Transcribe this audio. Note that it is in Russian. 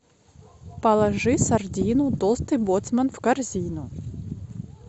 положи сардину толстый боцман в корзину